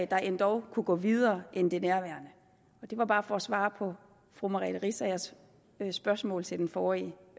der endog kunne gå videre end det nærværende og det var bare for at svare på fru merete riisagers spørgsmål til den forrige